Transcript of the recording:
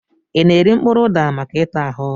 I na-eri mkpụrụ ụda maka ịta ahụ?